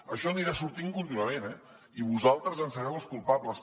això anirà sortint contínuament eh i vosaltres en sereu els culpables